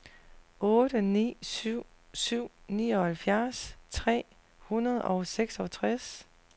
otte ni syv syv nioghalvfjerds tre hundrede og seksogtres